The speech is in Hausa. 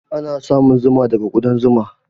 Ana samun zuma daga kuɗan zuma.